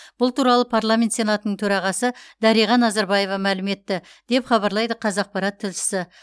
бұл туралы парламент сенатының төрағасы дариға назарбаева мәлім етті деп хабарлайды қазақпарат тілшісі